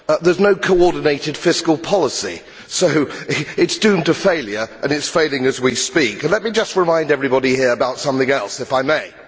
There is no coordinated fiscal policy so it is doomed to failure and it is failing as we speak. Let me just remind everybody here about something else if I may.